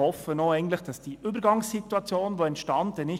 Wir hoffen, dass die entstandene Übergangssituation bald zu Ende ist.